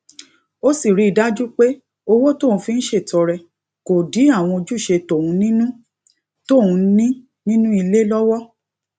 ó sì rí i dájú pé owó tóun fi ń ṣètọrẹ kò dí àwọn ojúṣe tóun ní nínú tóun ní nínú ilé lówó